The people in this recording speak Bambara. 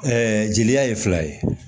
jeliya ye fila ye